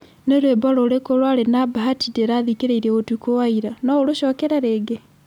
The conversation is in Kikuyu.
Nĩ rwĩmbo rũrĩkũ rwarĩ na bahati ndirathikĩrĩirie ũtukũ wa ira? No ũrũcokere rĩngĩ?